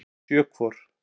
Sjö hvor.